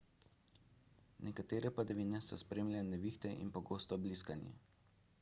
nekatere padavine so spremljale nevihte in pogosto bliskanje